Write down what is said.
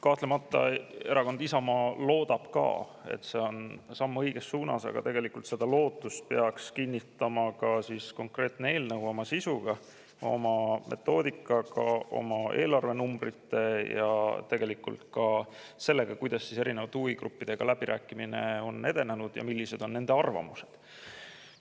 Kahtlemata loodab ka erakond Isamaa, et see on samm õiges suunas, aga tegelikult peaks seda lootust kinnitama konkreetne eelnõu oma sisuga, oma metoodikaga, oma eelarvenumbritega ja ka sellega, kuidas erinevate huvigruppidega läbirääkimine on edenenud ja millised on nende arvamused.